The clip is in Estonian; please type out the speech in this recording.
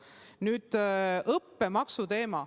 Nüüd õppemaksu teema.